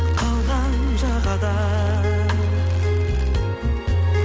қалған жағада